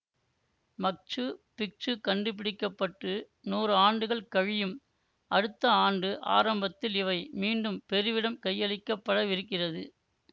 மச்சு Picchu கண்டுபிடிக்க பட்டு நூறாண்டுகள் கழியும் அடுத்த ஆண்டு ஆரம்பத்தில் இவை மீண்டும் பெருவிடம் கையளிக்கப்படவிருக்கிறது